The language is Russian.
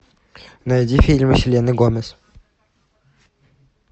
найди фильм с селеной гомес